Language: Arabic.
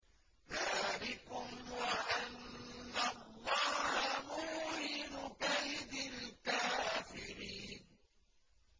ذَٰلِكُمْ وَأَنَّ اللَّهَ مُوهِنُ كَيْدِ الْكَافِرِينَ